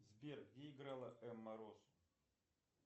сбер где играла эмма роуз